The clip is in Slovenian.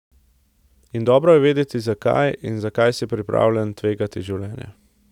In dobro je vedeti, zakaj in za kaj si pripravljen tvegati življenje.